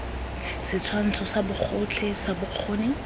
setshwantsho sa bogotlhe sa bokgoni